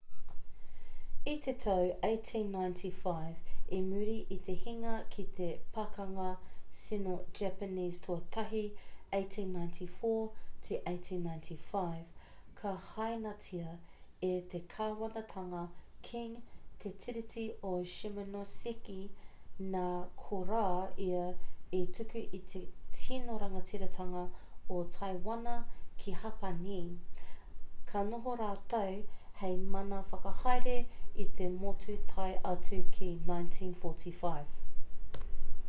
i te tau 1895 i muri i te hinga ki te pakanga sino-japanese tuatahi 1894-1895 ka hainatia e te kāwanatanga qing te tiriti o shimonoseki nā korā ia i tuku i te tino rangatiratanga o taiwana ki hapani ka noho rātou hei mana whakahaere i te motu tae atu ki 1945